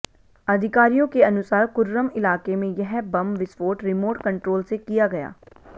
अधिकारियों के अनुसार कुर्रम इलाके में यह बम विस्फोट रिमोट कंट्रोल से किया गया